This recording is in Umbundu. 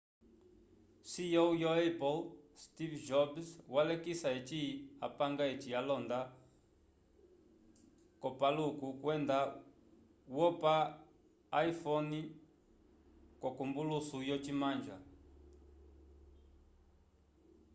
ceo wo apple steve jobs walekisa eci apanga eci alonda k'opaluku kwenda wopa iphone k'ombolusu yocimanja